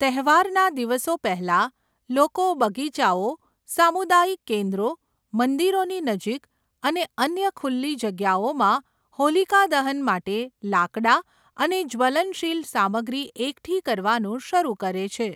તહેવારના દિવસો પહેલાં, લોકો બગીચાઓ, સામુદાયિક કેન્દ્રો, મંદિરોની નજીક અને અન્ય ખુલ્લી જગ્યાઓમાં હોલિકા દહન માટે લાકડાં અને જ્વલનશીલ સામગ્રી એકઠી કરવાનું શરૂ કરે છે.